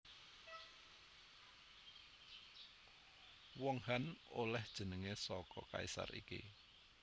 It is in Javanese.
Wong Han olèh jenengé saka kaisar iki